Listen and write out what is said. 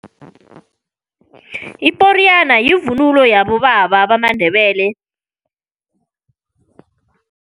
Iporiyana yivunulo yabobaba bamaNdebele.